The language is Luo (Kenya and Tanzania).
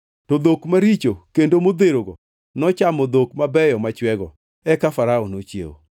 To dhok maricho kendo modherogo nochamo dhok mabeyo machwego. Eka Farao nochiewo.